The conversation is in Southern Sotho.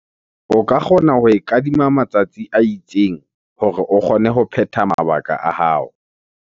O ka kgona ho e kadima matsatsi a itseng hore o kgone ho phetha mabaka a hao.